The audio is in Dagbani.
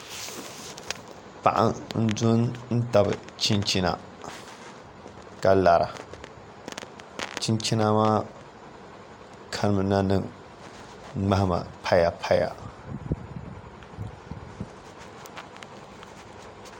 Paɣa n do n tabi chinchina ka lara chinchina maa kanimina ni ŋmahama paya paya